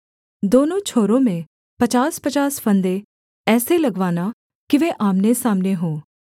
दोनों छोरों में पचासपचास फंदे ऐसे लगवाना कि वे आमनेसामने हों